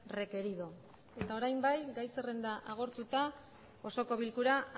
requerido eta orain bai gai zerrenda agortuta osoko bilkura